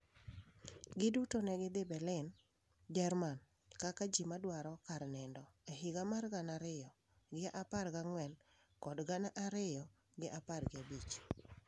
Giduto ne gidhi Berlin Jerman kaka ji madwaro kar nindo e higa mar gana ariyo gi apar gi ang'wen kod gana ariyo gi apar gi abich.